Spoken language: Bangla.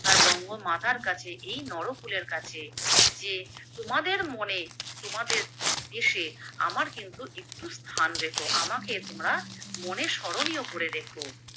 তার বঙ্গমাতার কাছে, এই নরকুলের কাছে যে তোমাদের মনে তোমাদের দেশে আমার কিন্তু একটু স্থান রেখো আমাকে তোমরা মনে স্মরণীয় করে রেখো।